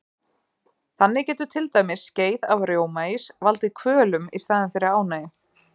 Þannig getur til dæmis skeið af rjómaís valdið kvölum í staðinn fyrir ánægju.